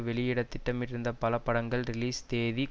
வெளியிட திட்டமிட்டிருந்த பல படங்களின் ரிலீஸை தேதி